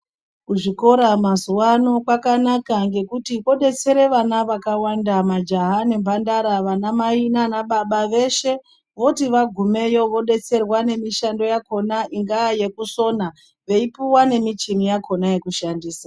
Muzvikora mazuva ano kwakanaka ngekuti kodetsera vana vakawanda majaha nemhandara vana mai nana baba veshe voti vagumeyo vodetserwa nemishando yakona ingava yekusona veipuwa nemichini yakona yekushandisa.